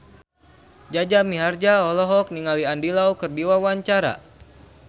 Jaja Mihardja olohok ningali Andy Lau keur diwawancara